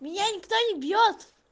меня никто не бьёт